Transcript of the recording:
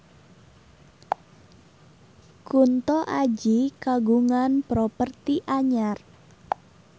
Kunto Aji kagungan properti anyar